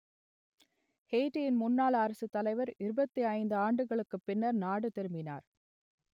எயிட்டியின் முன்னாள் அரசுத்தலைவர் இருபத்தி ஐந்து ஆண்டுகளுக்குப் பின்னர் நாடு திரும்பினார்